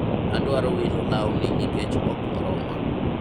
adwaro wilo lawni nikech ok oroma